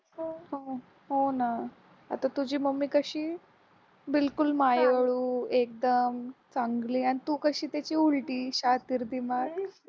हो हो ना आता तुझी मम्मी कशी बिलकुल मायाळू एकदम चांगली आणि तू कशी त्याच्या उलटी शातिर दिमाग